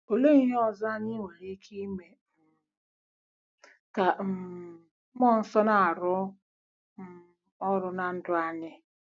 Olee ihe ọzọ anyị nwere ike ime um ka um mmụọ nsọ na-arụ um ọrụ ná ndụ anyị?